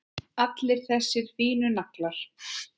Allir þessir fínu naglar!